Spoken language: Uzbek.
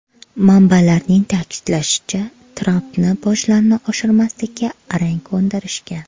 Manbalarning ta’kidlashicha, Trampni bojlarni oshirmaslikka arang ko‘ndirishgan.